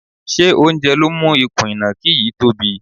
Ṣé oúnjẹ ló mú ikùn ìnàkí yìí tobí?